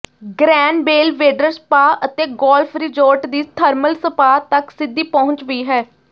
grain Belvedere Spa ਅਤੇ Golf Resort ਦੀ thermal spa ਤਕ ਸਿੱਧੀ ਪਹੁੰਚ ਵੀ ਹੈ